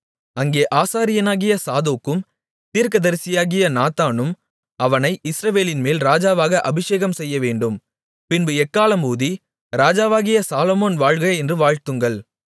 அங்கே ஆசாரியனாகிய சாதோக்கும் தீர்க்கதரிசியாகிய நாத்தானும் அவனை இஸ்ரவேலின்மேல் ராஜாவாக அபிஷேகம்செய்யவேண்டும் பின்பு எக்காளம் ஊதி ராஜாவாகிய சாலொமோன் வாழ்க என்று வாழ்த்துங்கள்